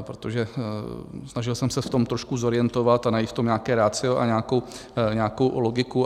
protože snažil jsem se v tom trošku zorientovat a najít v tom nějaké ratio a nějakou logiku.